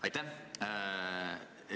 Aitäh!